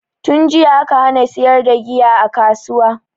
Tunjiya aka hana siyar da giya a kasuwa